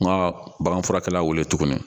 Nka baganfurakɛlaw wele tuguni